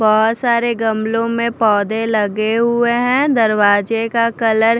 बहोत सारे गमलो में पौधे लगे हुए है दरवाज़े का कलर --